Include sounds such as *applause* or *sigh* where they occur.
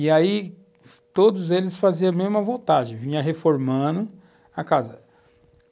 E aí todos eles faziam a mesma, *unintelligible* vinham reformando a casa.